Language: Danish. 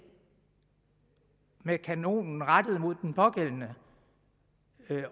med kanonen rettet mod den pågældende